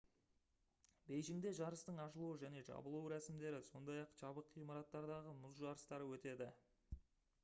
бейжіңде жарыстың ашылу және жабылу рәсімдері сондай-ақ жабық ғимараттардағы мұз жарыстары өтеді